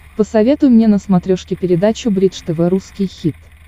посоветуй мне на смотрешке передачу бридж тв русский хит